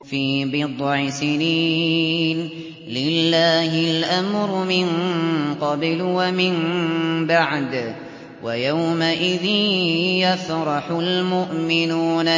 فِي بِضْعِ سِنِينَ ۗ لِلَّهِ الْأَمْرُ مِن قَبْلُ وَمِن بَعْدُ ۚ وَيَوْمَئِذٍ يَفْرَحُ الْمُؤْمِنُونَ